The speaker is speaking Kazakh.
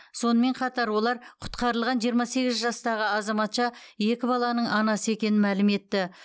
сонымен қатар олар құтқарылған жиырма сегіз жастағы азаматша екі баланың анасы екенін мәлім етті